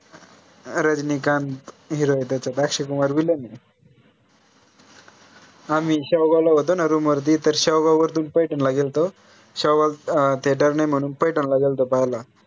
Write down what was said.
Rajinikanth hero त्याच्यात Akshay Kumar Villain आहे हा मी त्या वेळेला होतो ना room वरती वरतून पैठनला गेल्तो त अं theater नाही म्हणून पैठला गेल्तो पाहाला